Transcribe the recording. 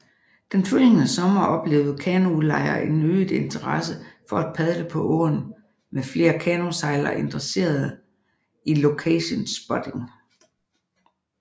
Den følgende sommer oplevede kanoudlejere en øget interesse for at padle på åen med flere kanosejlere interesserede i locationspotting